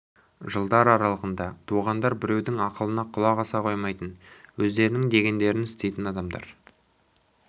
жылдар аралығында туғандар біреудің ақылына құлақ аса қоймайтын өздерінің дегендерін істейтін адамдар